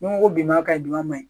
Ni n ko biman ka ɲi dunma man